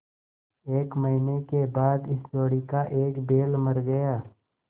एक महीने के बाद इस जोड़ी का एक बैल मर गया